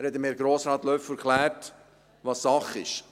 Er hat Herrn Grossrat Löffel erklärt, was Sache ist.